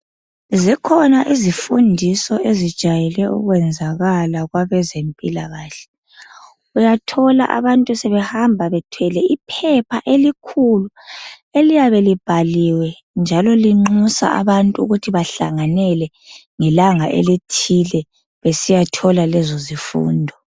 Zikhona izifundiso ezijayele ukwenzakala kwabezempilakahle. Uyathola abantu sebebehamba bethwele ipaper elikhulu. Eliyabe libhaliwe njalo linxusa abantu ukuthi bahlanganele ngelanga elithile. Besiyathola lezo zifundo.